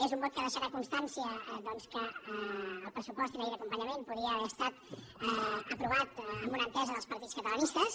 és un vot que deixarà constància doncs que el pressupost i la llei d’acompanyament podien haver estat aprovats amb una entesa dels partits catalanistes